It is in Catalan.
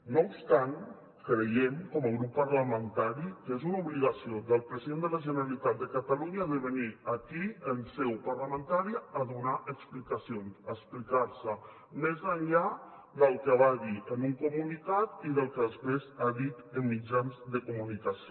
no obstant creiem com a grup parlamentari que és una obligació del president de la generalitat de catalunya de venir aquí en seu parlamentària a donar explicacions a explicar se més enllà del que va dir en un comunicat i del que després ha dit en mitjans de comunicació